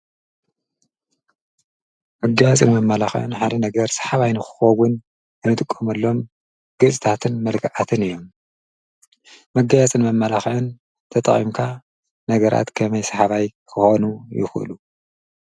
መገያጽን ም ማላኽዕን ሓሪ ነገር ሰሓባይ ንክኾውን እንጥቆምሎም ገጽታትን መልግኣትን እዮም መገያጽን መ መላኽዕን ተጣቒምካ ነገራት ከመይ ሰሓባይ ክኾኑ ይዂሉ።